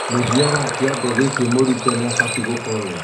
Mũthia wa kĩongo gĩkĩ mũrutwo nĩabatie gũkorwo